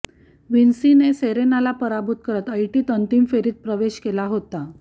व्हिन्सीने सेरेनाला पराभूत करत ऐटीत अंतिम फेरीत प्रवेश केला होता